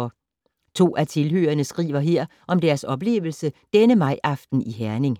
To af tilhørerne skriver her om deres oplevelse denne majaften i Herning: